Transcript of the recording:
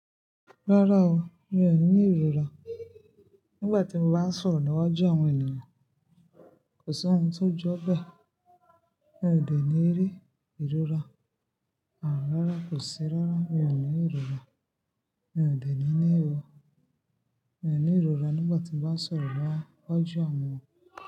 Rárá o, mi ò ní ìrora. Nígbà tí mo bá ń sọ̀rọ̀ niwaju àwọn ènìyàn, kò sí ohun tó jọ́ bẹ́ẹ̀. Mi ò dè ní rí ìrora, àìrárá kò sí rárá, mi ò ní ìrora. Mi ò dè ní ní o. Mi ò ní ìrora nígbà tí mo bá ń sọ̀rọ̀ bá ọ́ ju àwọn.